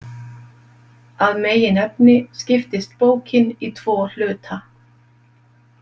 Að meginefni skiptist bókin í tvo hluta.